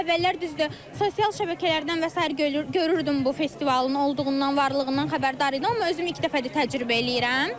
Əvvəllər düzdür, sosial şəbəkələrdən və sair görürdüm bu festivalın olduğundan, varlığından xəbərdar idim, amma özüm ilk dəfədir təcrübə eləyirəm.